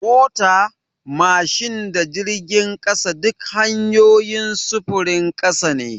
Mota, mashin da jirgin ƙasa duk hanyoyin sufurin ƙasa ne.